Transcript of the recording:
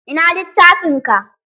Ina littafin ka?